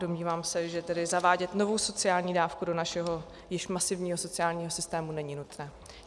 Domnívám se, že tedy zavádět novou sociální dávku do našeho spíš masivního sociálního systému není nutné.